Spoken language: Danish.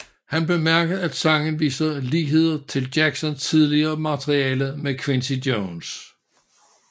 Han bemærkede at sangen viser ligheder til Jacksons tidligere materiale med Quincy Jones